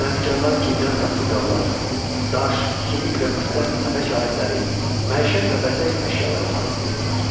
Sənətkarlar gildən saxsı qablar, daş, sümük və misdən əmək alətləri, məişət və bəzək əşyaları hazırlayırdılar.